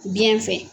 Biɲɛ fɛ